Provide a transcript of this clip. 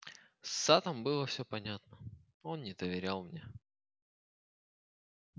с саттом было всё понятно он не доверял мне